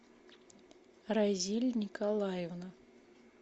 разиль николаевна